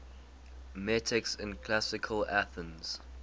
metics in classical athens